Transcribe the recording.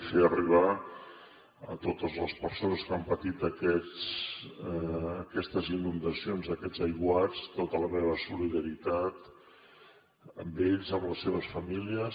fer arribar a totes les persones que han patit aquestes inundacions aquests aiguats tota la meva solidaritat amb ells amb les seves famílies